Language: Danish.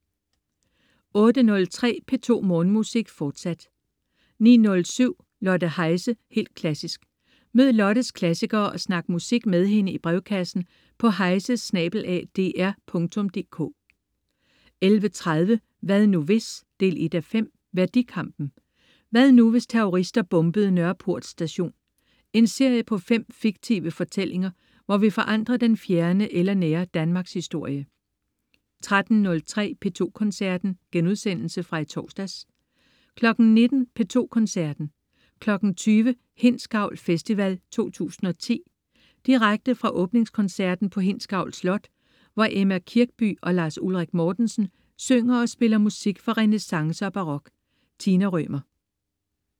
08.03 P2 Morgenmusik, fortsat 09.07 Lotte Heise, helt klassisk. Mød Lottes klassikere og snak musik med hende i brevkassen på heise@dr.dk 11.30 Hvad nu hvis? 1:5. Værdikampen. Hvad nu hvis terrorister bombede Nørreport Station? En serie på 5 fiktive fortællinger, hvor vi forandrer den fjerne eller nære Danmarkshistorie 13.03 P2 Koncerten.* Genudsendelse fra i torsdags 19.00 P2 Koncerten. 20.00 Hindsgavl Festival 2010. Direkte fra åbningskoncerten på Hindsgavl Slot, hvor Emma Kirkby og Lars Ulrik Mortensen synger og spiller musik fra renæssance og barok. Tina Rømer